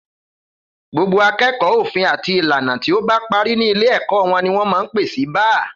Gbogbo akẹẹkọ òfin àti ìlànà tí o bá pàrí ni ilé èkó won ni wón mà ń pẹ sí bàà